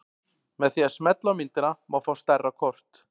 Með því að smella á myndina má fá stærra kort.